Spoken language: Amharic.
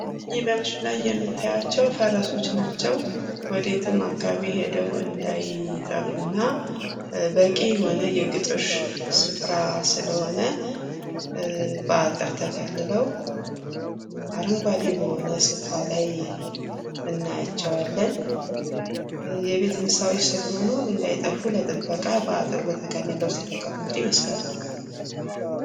ይህ በምስሉ ላይ የምታዩአቸዉ ፈረሶች ናቸዉ። ወደ የትም አካባቢ ሄደዉ እንዳይጠፉ እና በቂ የሆነ የግጦሽ ስፍራ ስለሆነ በአጥር ተከልለዉ አረንጓዴ በሆነ ስፍራ ላይ እናያቸዋለን። የቤት እንስሳ ስለሆኑ እንዳይጠፉ በአጥር የተከለሉ ይመስላሉ።